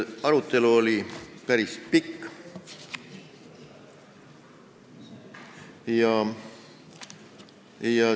Arutelu oli päris pikk.